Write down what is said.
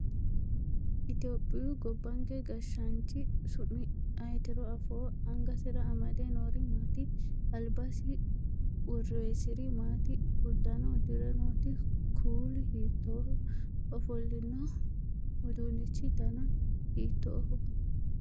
Itiyophiyu gobbanke gashshaanchi su'mi ayeetiro afoo? Angasira amade noori maati? Albasii worroyisiri maati? Uddano udirinote kuuli hiittoho? Ofollino uduunnichi dani hiittoho?